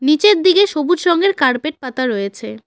নীচের দিকে সবুজ রঙের কার্পেট পাতা রয়েছে।